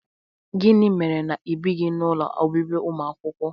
Gịnị mere na ịbighị n'ụlọ obibi ụmụakwụkwọ?